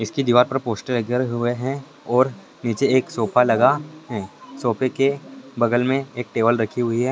इसके दीवार पर पोस्टर लगे हुए है और निचे एक सोफा लगा है सोफ़े के बगल मे एक टेबल रखी हुई है।